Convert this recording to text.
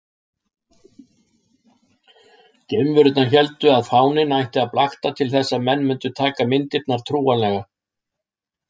Geimverurnar héldu að fáninn ætti að blakta til þess að menn mundu taka myndirnar trúanlegar.